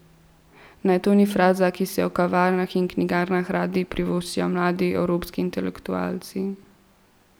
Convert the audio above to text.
Ne, to ni fraza, ki si jo v kavarnah in knjigarnah radi privoščijo mladi evropski intelektualci.